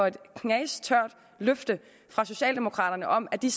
et knastørt løfte fra socialdemokraterne om at de